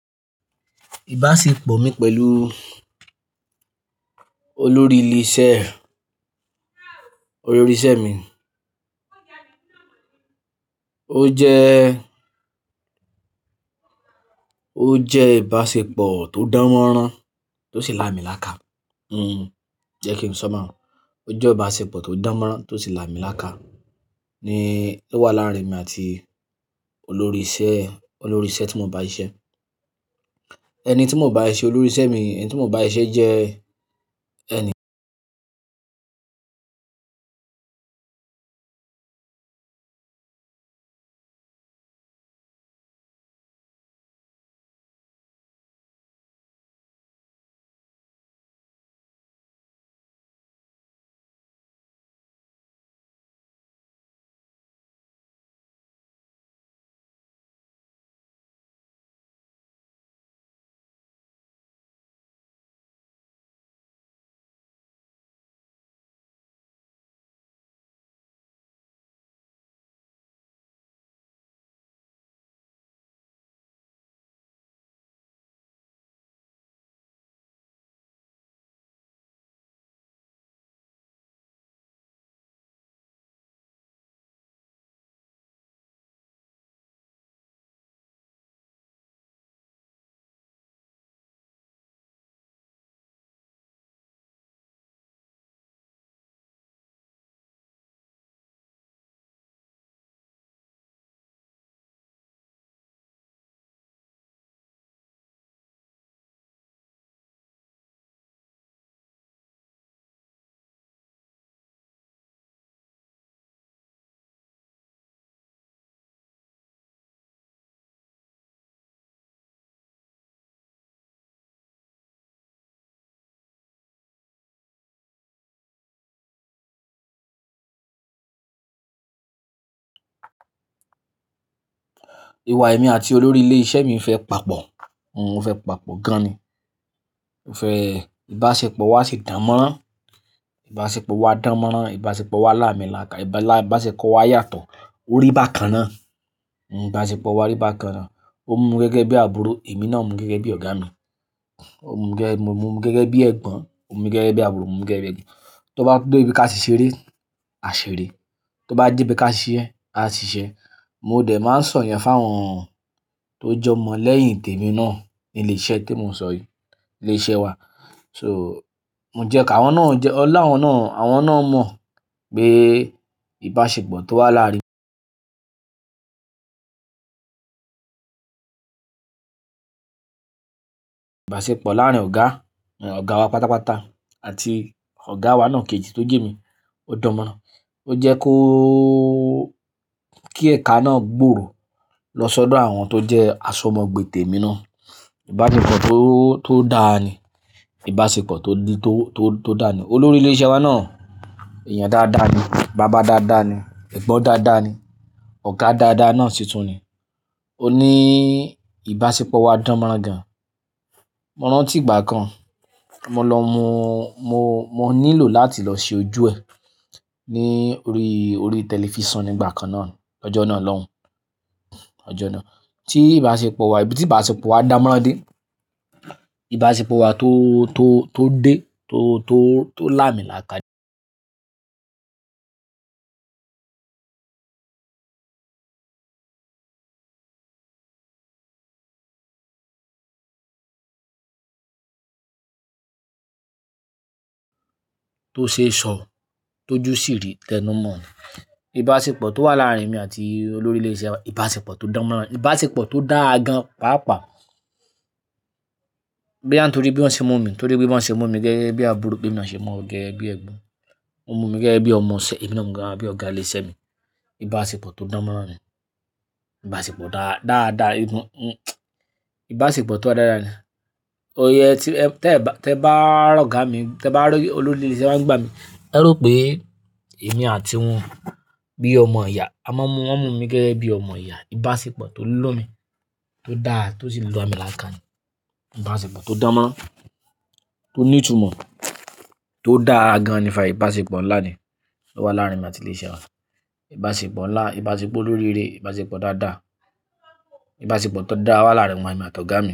Ìbáṣepọ̀ mi pẹ̀lú olórí ilé iṣẹ́, olórí iṣẹ́ mi. Ó jẹ́, ó jẹ́ ìbáṣepọ̀ tó dánmọ́rán, tó sì lámílàkà. Hmm, jẹ́ kí n sọ baun. O je ibasepo to dan moran to si lamilaaka ni o wa laarin emi ati olori ise, olori ise ti mo n ba sise. Eni ti mo n ba sise, olori ise mi, eni ti mo n ba sise je eni Iwa emi ati olori ise mi fe papo. Hmm o fe papo gan-an ni o fẹ́ ìbáṣepọ̀ wa si dánmọ́rán, ibasepo wa danmoran, ibasepo wa lamilaaka, ibasepo wa yato, o ri bakan naa, hmm ibasepo wa ri bakan naa. O mu mi gege bi aburo, emi naa mu gege bi oga oga mi. O mu mi gege bi, mo mu gege bi egbon, o mu gege bi aburo, mo mu gege bi egbon. To ba debi ka ti sere, a sere. To ba debi ka sise, a sise. Mo de ma n so yen fun awon to je omo leyin temi naa nile ise ti mo n so yii, ile ise wa. So mo je ka, awon naa, ola awon naa, awon naa mo pe Ìbáṣepọ̀ to wa láàrin laarin ọ̀gá, ọ̀gá wa pátápátá àti ọ̀gá wa náà kejì tó jẹ̀mí, ó dánmọ́rán. Ó jẹ́ kó, kí ẹ̀ka náà gbòòrò lọ sọ́dọ̀ àwọn tó jẹ́ aṣọmọgbé tèmi náà. Ìbáṣepọ̀ tó, tó dáa ni. Ìbáṣepọ̀ tó, tó, tó dáa ni. Olórí ilé iṣẹ́ wa náà èèyàn dáadáa ni, bàbá dáadáa ni, ẹ̀gbọ́n dáadáa ni, ọ̀gá dáadáa náà sì tún ni. Ó ní Ìbáṣepọ̀ wa dánmọ́rán gan. Mo rántí ìgbà kan mo lọ mú, mo, mo nílò láti lọ ṣe ojú ẹ ní orí, orí tẹlifísàn ní ìgbà kan náà lọjọ́ náà lọ́hùn, ọjọ́ náà. Tí ìbáṣepọ̀ wa, ibi tí ìbáṣepọ̀ wa dánmọ́rán dé, ìbáṣepọ̀ wa tó, tó, tó dé, tó, tó, tó lámílàkà Tó ṣee sọ, tóju sí rí tẹnu mọ́. Ìbáṣepọ̀ tó wà láàrin emi àti olórí ilé iṣẹ́ wa, ìbáṣepọ̀ tó dánmọ́rán, ìbáṣepọ̀ tó dáa gan páápàá. Boya nitorí bí wọ́n ṣe mu mí, torí bí wọ́n ṣe mu mi gẹ́gẹ́ bí àbúrò, bi emí naa ṣe mu won gẹ́gẹ́ bí ẹ̀gbọ́n, wọ́n mu mí gẹ́gẹ́ bí ọmọ ìṣe, èmi náà mu wọn gẹ́gẹ́ bí ọ̀gá ilé iṣẹ́ mi. Ìbáṣepọ̀ tó dánmọ́rán ni. Ìbáṣepọ̀ dáadáa, Ìbáṣepọ̀ tó dára ni. Oye tí, tẹ bá, tí ẹ bá rọ̀gá mi, tí ẹ bá rí olórí ilé iṣẹ́ wa ńigbá mi, ẹ rò pé èmi àti wọn bí ọmọ ìyá. A máa ń mú, wọ́n mu mí gẹ́gẹ́ bí ọmọ ìyá. Ìbáṣepọ̀ tó lomi, tó dáa, tó sì lamiláaka ni. Ìbáṣepọ̀ tó dánmọ́rán, tó ní ìtumọ̀, tó dáa gan-an ni. Ìbáṣepọ̀ ńlá ni tó wà láàrin emi àti ilé iṣẹ́ wa. Ìbáṣepọ̀ ńlá, ìbáṣepọ̀ olóríire, ìbáṣepọ̀ dáadáa, ìbáṣepọ̀ tó dáa wà láàrin emi àti ọ̀gá mi.